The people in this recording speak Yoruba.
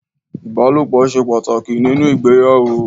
Ìbálòpọ̀ ṣe pàtàkì nínú ìgbéyàwó.